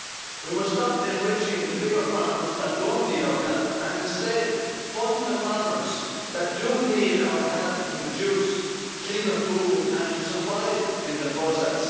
We must stop enriching the bigger farmers that don't need our help and instead fund the farmers that do need our help to produce cleaner food and to survive in the process.